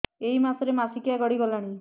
ଏଇ ମାସ ର ମାସିକିଆ ଗଡି ଗଲାଣି